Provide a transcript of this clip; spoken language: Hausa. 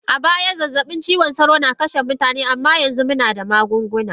A baya zazzabin cizon sauro na kashe mutane amma yanzu muna da magunguna.